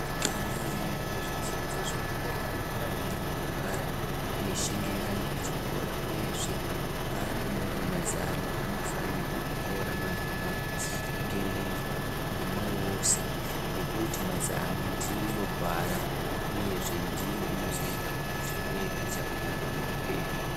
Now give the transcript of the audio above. Ana anoenda kuzvidzidzo zvedera anofanirwe kugara, eishingirira ngechikora uyezve paanonyore mazama, anofanirwa kutora mazama nge ngemwoyo wose, ngekuti mazama ndiro gwara ,uyezve ndiyo inozoita kuti uve nechakanaka muupenyu.